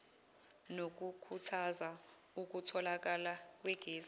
nokukhuthaza ukutholakala kwegesi